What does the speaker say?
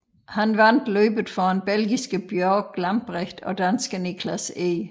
Han vandt løbet foran belgiske Bjorg Lambrecht og danske Niklas Eg